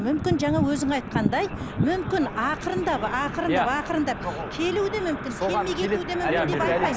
мүмкін жаңа өзің айтқандай мүмкін ақырындап ақырындап ақырындап келуі де мүмкін